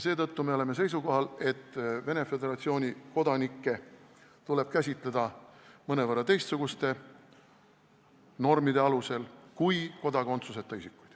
Seetõttu me oleme seisukohal, et Venemaa Föderatsiooni kodanikke tuleb käsitleda mõnevõrra teistsuguste normide alusel kui kodakondsuseta isikuid.